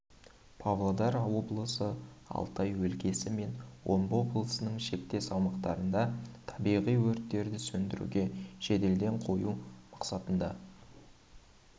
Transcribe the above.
павлодар облысы алтай өлкесі мен омбы облысының шектес аумақтарында табиғи өрттерді сөндіруге жедел ден қою мақсатында